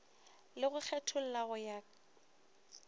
le go kgetholla go ya